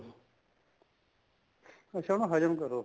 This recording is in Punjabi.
ਅੱਛਾ ਉਹਨੂੰ ਹਜਮ ਕਰੋਂ